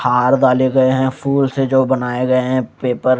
हार दाले गए हैं फूल से जो बनाए गए हैं पेपर --